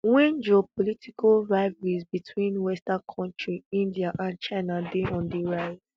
wen geopolitical rivalries between western countries india and china dey on di rise